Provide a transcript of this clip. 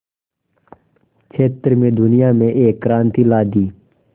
क्षेत्र में दुनिया में एक क्रांति ला दी